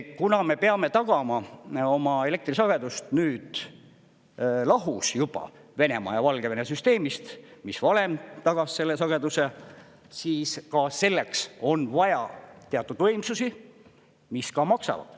Kuna me peame tagama oma elektrisagedust nüüd lahus juba Venemaa ja Valgevene süsteemist, mis varem tagas selle sageduse, siis ka selleks on vaja teatud võimsusi, mis ka maksavad.